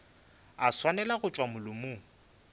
a swanela go tšwa molomong